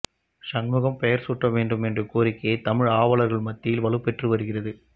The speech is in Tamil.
சண்முகம் பெயா் சூட்ட வேண்டும் என்ற கோரிக்கை தமிழ் ஆா்வலா்கள் மத்தியில் வலுப்பெற்று வருகிறது